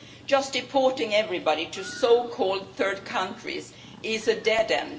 Just deporting everybody to so called third countries is a dead end.